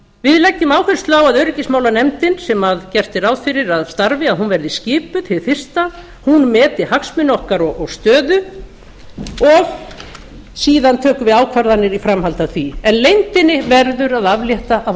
við leggjum áherslu á að öryggismálanefndin sem gert er ráð fyrir að starfi verði skipuð hið fyrsta hún meti hagsmuni okkar og stöðu og síðan tökum við ákvarðanir í framhaldi af því en leyndinni verður að aflétta af